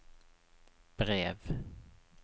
brev